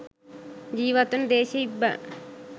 ජීවත් වන දේශීය ඉබ්බන්